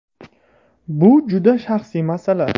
Bu juda shaxsiy masala.